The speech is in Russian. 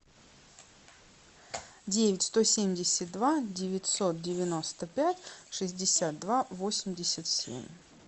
девять сто семьдесят два девятьсот девяносто пять шестьдесят два восемьдесят семь